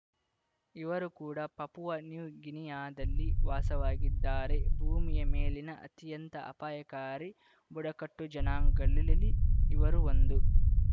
ಇವರೂ ಕೂಡ Papua New ಗಿನಿಯಾದಲ್ಲಿ ವಾಸವಾಗಿದ್ದಾರೆ ಭೂಮಿಯ ಮೇಲಿನ ಅತ್ಯಂತ ಅಪಾಯಕಾರಿ ಬುಡಕಟ್ಟು ಜನಾಂಗಲಳಲ್ಲಿ ಇವರೂ ಒಂದು